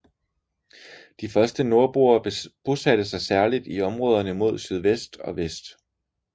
De første nordboere bosatte sig særligt i områderne mod sydvest og vest